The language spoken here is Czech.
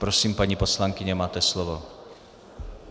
Prosím, paní poslankyně, máte slovo.